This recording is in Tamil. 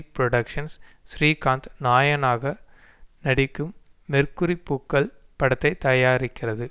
புரொடக்ஷ்ன்ஸ் ஸ்ரீகாந்த் நாயனாக நடிக்கும் மெர்க்குரி பூக்கள் படத்தை தயாரிக்கிறது